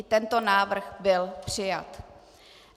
I tento návrh byl přijat.